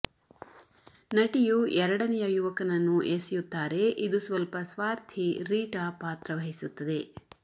ನಟಿಯು ಎರಡನೆಯ ಯುವಕನನ್ನು ಎಸೆಯುತ್ತಾರೆ ಇದು ಸ್ವಲ್ಪ ಸ್ವಾರ್ಥಿ ರೀಟಾ ಪಾತ್ರ ವಹಿಸುತ್ತದೆ